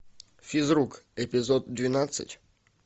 физрук эпизод двенадцать